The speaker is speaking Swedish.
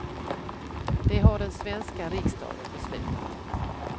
Det har den svenska riksdagen beslutat.